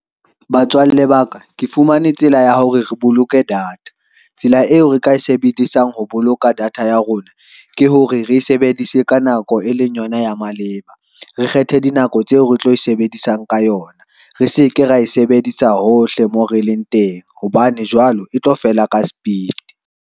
Batswalle ba ka, ke fumane tsela ya hore re boloke data, tsela eo re ka e sebedisang ho boloka data ya rona, ke hore re sebedise ka nako e leng yona ya maleba. Re kgethe dinako tseo re tlo e sebedisang ka yona, re seke ra e sebedisa hohle moo re leng teng hobane jwale e tlo fela ka sepiti.